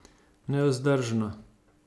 Nevzdržno.